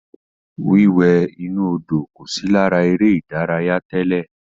Wíwẹ̀ inú Odò kò sí lára eré ìdárayá tẹ́lẹ̀.